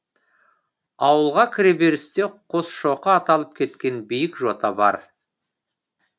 ауылға кіреберісте қосшоқы аталып кеткен биік жота бар